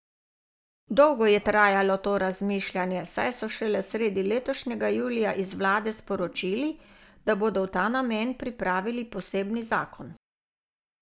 Dolgo je trajalo to razmišljanje, saj so šele sredi letošnjega julija iz vlade sporočili, da bodo v ta namen pripravili posebni zakon.